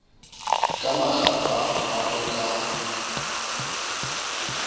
ka makgapha ha o ka